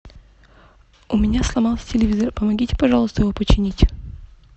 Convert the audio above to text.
у меня сломался телевизор помогите пожалуйста его починить